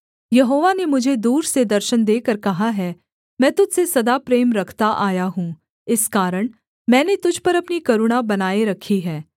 यहोवा ने मुझे दूर से दर्शन देकर कहा है मैं तुझ से सदा प्रेम रखता आया हूँ इस कारण मैंने तुझ पर अपनी करुणा बनाए रखी है